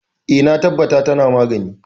E, na tabbata tana magani.